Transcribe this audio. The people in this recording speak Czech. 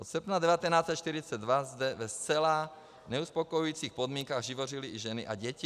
Od srpna 1942 zde ve zcela neuspokojujících podmínkách živořily i ženy a děti.